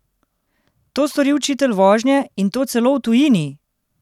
To stori učitelj vožnje, in to celo v tujini!